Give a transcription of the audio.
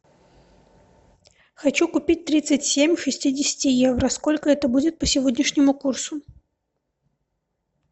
хочу купить тридцать семь шестидесяти евро сколько это будет по сегодняшнему курсу